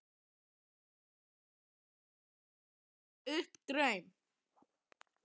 Kannski er ég enn að rifja upp draum.